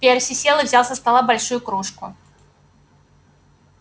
перси сел и взял со стола большую кружку